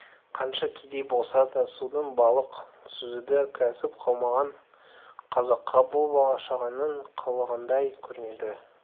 қанша кедей болса да судан балық сүзуді кәсіп қылмаған қазаққа бұл бала-шағаның қылығындай көрінді